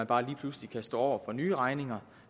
bare lige pludselig kan stå over for nye regninger